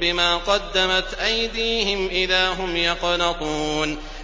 بِمَا قَدَّمَتْ أَيْدِيهِمْ إِذَا هُمْ يَقْنَطُونَ